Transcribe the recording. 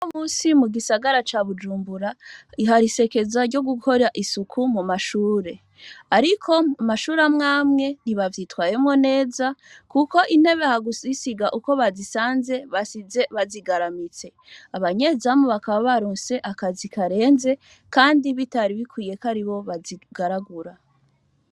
Unomunsi mugisagara ca Bujumbura hari isekeza ryogukora isuku mumashure ariko mumashure amwamwe ntibavyitwayemwo neza kuko intebe hakuyisiga uko bazisanze basize bazigaramitse abanyezamu bakaba baronse akazi karenze kandi bitari bikwiye kwaribo bazigaragura